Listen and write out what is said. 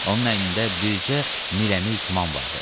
Onun əynində bircə mirəmil tuman vardı.